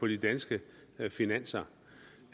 de danske finanser